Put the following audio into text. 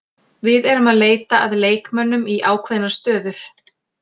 Við erum að leita að leikmönnum í ákveðnar stöður.